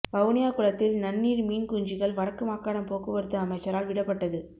வவுனியா குளத்தில் நன்னீர் மீன் குஞ்சுகள் வடக்கு மாகாண போக்குவரத்து அமைச்சரால் விடப்பட்டது